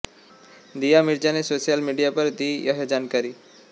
दीया मिर्जा ने social media पर दी यह जानकारी